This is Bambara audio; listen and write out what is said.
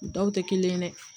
U dɔw tɛ kelen ye dɛ